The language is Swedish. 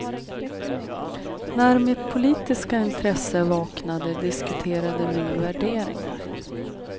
När mitt politiska intresse vaknade diskuterade vi värderingar.